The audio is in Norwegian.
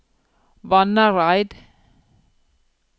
Vannareid